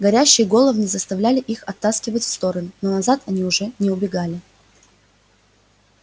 горящие головни заставляли их оттаскивать в стороны но назад они уже не убегали